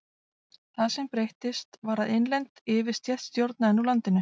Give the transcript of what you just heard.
Það sem breyttist var að innlend yfirstétt stjórnaði nú landinu.